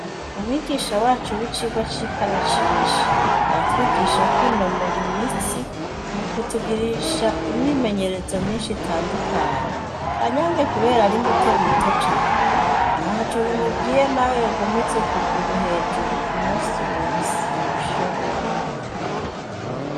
Umwigisha wacu w'icigwa c'ikarashishi, aratwigisha kwinonora imitsi, mu kutugirisha imyimenyerezo myinshi itandukanye; Kanyange, kubera ari muto muto cane, ntaco bimubwiye naho yogumiza ukuguru hejuru umunsi wose, arabishobora.